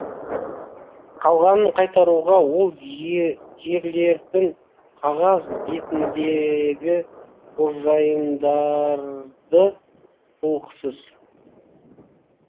қалғанын қайтаруға ол жерлердің қағаз бетіндегі қожайындарды құлықсыз